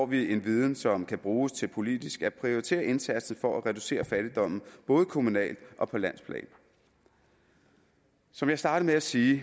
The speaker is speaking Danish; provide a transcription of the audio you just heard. vi en viden som kan bruges til politisk at prioritere indsatsen for at reducere fattigdommen både kommunalt og på landsplan som jeg startede med at sige